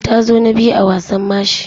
Ta zo na biyu a wasan mashi.